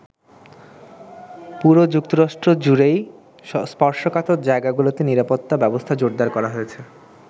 পুরো যুক্তরাষ্ট্র জুড়েই স্পর্শকাতর জায়গাগুলোতে নিরাপত্তা ব্যবস্থা জোরদার করা হয়েছে।